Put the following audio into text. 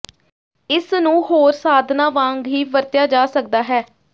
ਇਸ ਨੂੰ ਹੋਰ ਸਾਧਨਾਂ ਵਾਂਗ ਹੀ ਵਰਤਿਆ ਜਾ ਸਕਦਾ ਹੈ